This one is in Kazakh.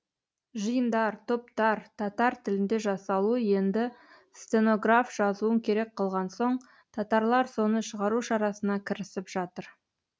жиындар топтар татар тілінде жасалуы енді стенограф жазуын керек қылған соң татарлар соны шығару шарасына кірісіп жатыр